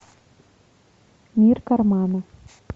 мир кармана